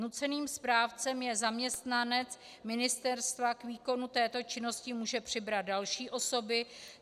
Nuceným správcem je zaměstnanec ministerstva, k výkonu této činnosti může přibrat další osoby.